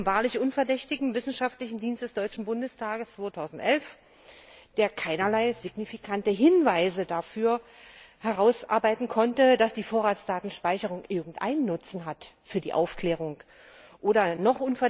B. von dem wahrlich unverdächtigen wissenschaftlichen Dienst des Deutschen Bundestags 2011, der keinerlei signifikante Hinweise dafür herausarbeiten konnte, dass die Vorratsdatenspeicherung für die Aufklärung irgendeinen Nutzen